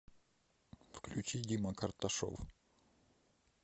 включи дима карташов